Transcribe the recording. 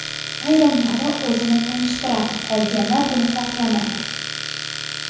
Ayrimlari o‘zini tanishtiradi, qolganlar buni xohlamaydi.